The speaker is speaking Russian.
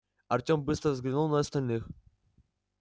артем быстро взглянул на остальных